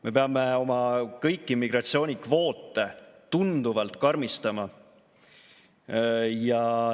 Me peame kõiki immigratsioonikvoote tunduvalt karmistama.